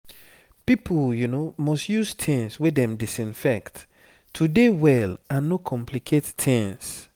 pipo must use tings wey dem disinfect to dey well and no complicate tings